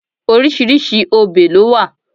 Oríṣiríṣi obè lo wa